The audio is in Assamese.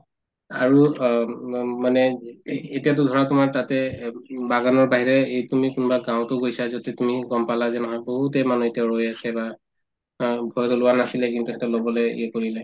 আৰু অম অ মানে এতিয়াতো ধৰা তোমাৰ তাতে উম বাগানৰ বাহিৰে এই তুমি কোনবা গাওঁতো গৈছা যদি তুমি গম পালা যে নহয় বহুতে মানে এতিয়াও ৰৈয়ে আছে বা অ ভয়তে লোৱা নাছিলে কিন্তু ইহঁতে লবলে ইয়ে কৰিলে